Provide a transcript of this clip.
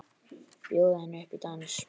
Bjóða henni upp í dans!